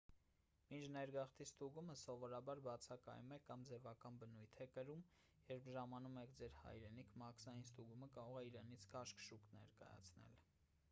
մինչ ներգաղթի ստուգումը սովորաբար բացակայում է կամ ձևական բնույթ է կրում երբ ժամանում եք ձեր hայրենիք մաքսային ստուգումը կարող է իրենից քաշքշուկ ներկայացնել: